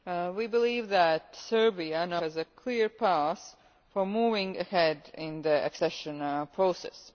We believe that Serbia now has a clear path for moving ahead in the accession process.